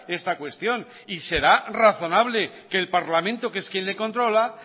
esta cuestión y será razonable que el parlamento que es quien le controla